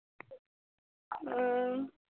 উম